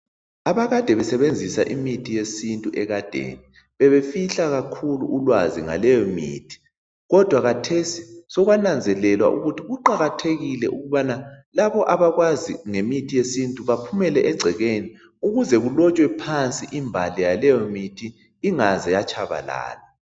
Abakade besebenzisa imithi yesintu ekadeni bebefihla kakhulu ulwazi ngaleyi mithi kodwa khathesi sokwananzelelwa ukuthi kuqakathekile ukubana labo bantwana abakwazi ngemithi yesintu baphumele egcekeni ukuze kulotshwe phansi imbali yaleyo mithi ingaze yatshabalala